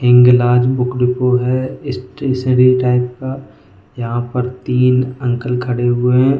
Hinglaj book depot है stationery type का यहाँ पर तीन अंकल खड़े हुए हैं।